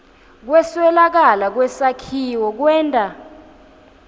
kweswelakala kwesakhiwo kwenta